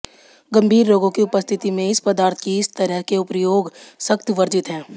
गंभीर रोगों की उपस्थिति में इस पदार्थ की इस तरह के प्रयोग सख्त वर्जित है